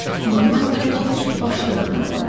Mılğına tərəf heç başını da döndərmədi.